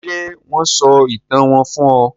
Ṣé wón sọ ìtàn wón fún ọ?